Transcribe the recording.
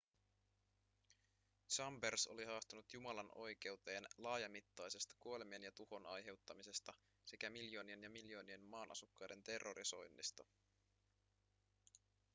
chambers oli haastanut jumalan oikeuteen laajamittaisesta kuolemien ja tuhon aiheuttamisesta sekä miljoonien ja miljoonien maan asukkaiden terrorisoinnista